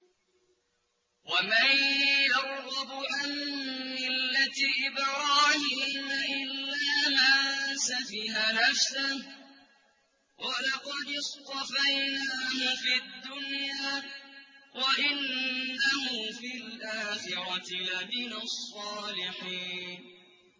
وَمَن يَرْغَبُ عَن مِّلَّةِ إِبْرَاهِيمَ إِلَّا مَن سَفِهَ نَفْسَهُ ۚ وَلَقَدِ اصْطَفَيْنَاهُ فِي الدُّنْيَا ۖ وَإِنَّهُ فِي الْآخِرَةِ لَمِنَ الصَّالِحِينَ